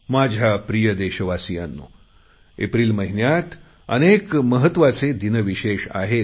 माझ्या प्रिय देशवासियांनो एप्रिल महिन्यात अनेक महत्वाचे दिन विशेष आहेत